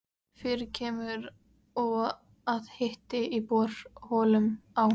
Fyrir kemur og að hiti í borholum á